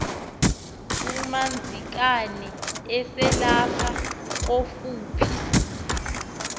umadzikane eselapha kofuphi